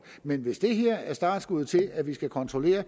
men hvis det her er startskuddet til at vi skal kontrollere og